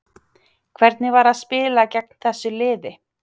Hvernig var að spila gegn þessu liði?